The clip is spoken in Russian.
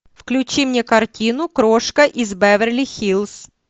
включи мне картину крошка из беверли хиллз